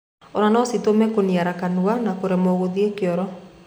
Ona no citũme kũniara kanua na kũremo kũthie kioro.